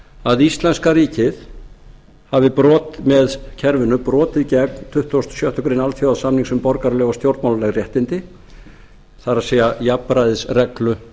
að íslenska ríkið hafi með kerfinu brotið gegn tuttugasta og sjöttu grein alþjóðasamnings um borgaraleg og stjórnmálaleg réttindi það er jafnræðisreglu